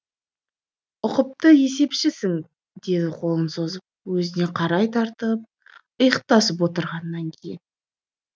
ұқыпты есепшісің деді қолын созып өзіне қарай тартып иықтасып отырғаннан кейін